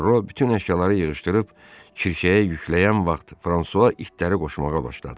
Perro bütün əşyaları yığışdırıb kirşəyə yükləyən vaxt Fransua itləri qoşmağa başladı.